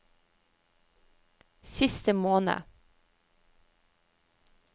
siste måned